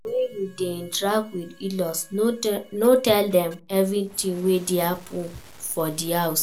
When you dey interact with inlaws no tell dem everything wey dey happen for di house